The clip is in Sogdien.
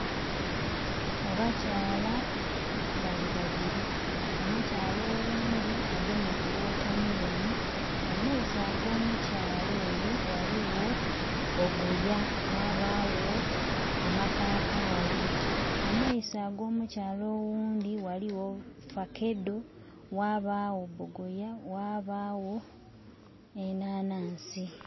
Abakyala bali babili omukyala oghundhi agemye ku wotameroni, mu maiso ago mukyala oyo ghaligho bogoya, ghabagho amapapali. Mu maiso ag'omukyala oghundhi ghaligho faakedo ghabagho bogoya ghabagho enhanansi.